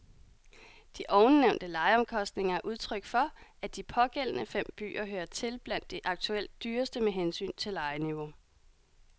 De ovennævnte lejeomkostninger er udtryk for, at de pågældende fem byer hører til blandt de aktuelt dyreste med hensyn til lejeniveau.